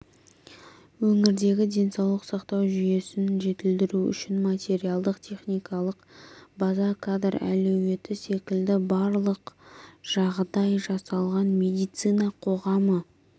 өңірдегі денсаулық сақтау жүйесін жетілдіру үшін материалдық-техникалық база кадр әлеуеті секілді барлық жағдай жасалған медицина қоғамы